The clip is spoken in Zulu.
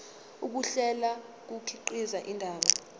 ukuhlela kukhiqiza indaba